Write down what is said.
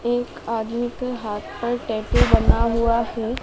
एक आदमी के हाथ पर टैटू बना हुआ है।